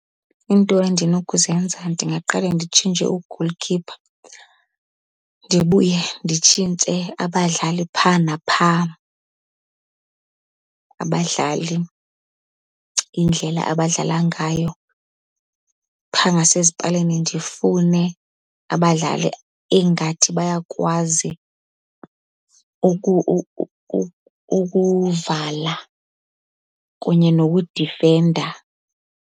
Iinto endinokuzenza ndingaqale nditshintshe u-goalkeeper ndibuye nditshintshe abadlali phaa naphaa, abadlali indlela abadlala ngayo. Phaa ngasezipalini ndifune abadlali engathi bayakwazi ukuvala kunye nokudifenda.